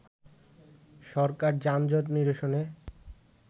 সরকার যানজট নিরসনে